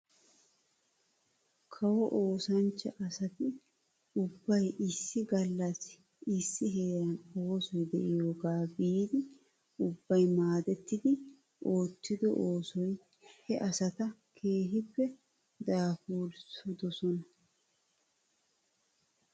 Kawo oosanchcha asati ubbay issi gaallssi issi heeran oosoy de'iyaagaa biidi ubbay maadettidi oottido oosoy he asata keehippe daafuridosona .